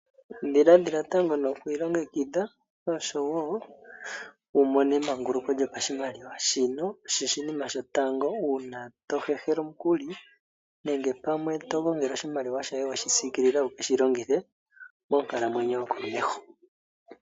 Ndhiladhila tango noku ilongekidha oshowo wumono emanguluko lyopashimaliwa shino osho oshinima shotango uuna tohehela omukuli nenge pamwe togongele oshimaliwa shoye weshi siikilila wushi longithe moonkalamwenyo yokomeho.